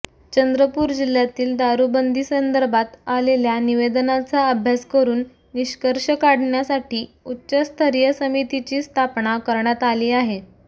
चंद्रपूर जिल्ह्यातील दारुबंदीसंदर्भात आलेल्या निवेदनाचा अभ्यास करून निष्कर्ष काढण्यासाठी उच्चस्तरीय समितीची स्थापना करण्यात आली आहे